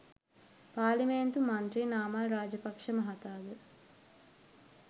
පාර්ලිමේන්තු මන්ත්‍රී නාමල් රාජපක්‍ෂ මහතා ද